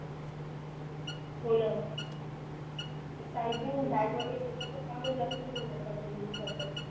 हो न ते प्रायझिंग बॅग वगेरे देतात न त्यामुळे जास्तच करून टाकतात ते नवीन लॅपटॉपची